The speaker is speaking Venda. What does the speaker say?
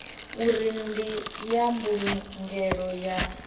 uri ndi ya mbulungelo ya